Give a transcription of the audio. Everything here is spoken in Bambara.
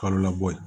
Kalo labɔ ye